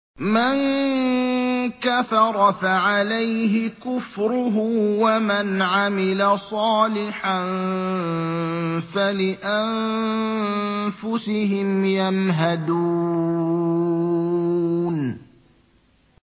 مَن كَفَرَ فَعَلَيْهِ كُفْرُهُ ۖ وَمَنْ عَمِلَ صَالِحًا فَلِأَنفُسِهِمْ يَمْهَدُونَ